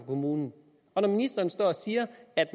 kommunerne og når ministeren står og siger at